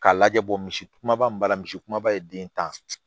K'a lajɛ bɔ misi kumaba min b'a la misi kumaba ye den tan